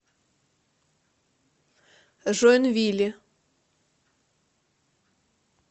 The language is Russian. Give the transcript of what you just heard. жоинвили